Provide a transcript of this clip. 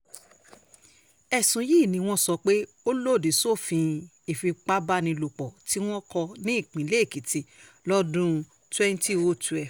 ẹ̀sùn yìí ni wọ́n sọ pé ó lòdì sófin ìfipábánilòpọ̀ tí wọn kò ní ìpínlẹ̀ èkìtì lọ́dún twenty oh twelve